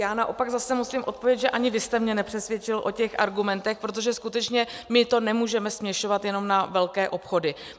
Já naopak zase musím odpovědět, že ani vy jste mě nepřesvědčil o těch argumentech, protože skutečně my to nemůžeme směšovat jenom na velké obchody.